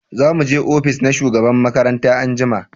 za mu je ofis na shugaban makaranta anjima